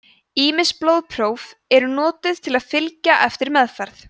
ýmis blóðpróf eru notuð til að fylgja eftir meðferð